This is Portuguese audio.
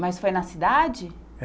Mas foi na cidade?